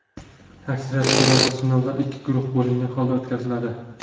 Aksariyat hollarda sinovlar ikki guruh bo‘lingan holda o‘tkaziladi.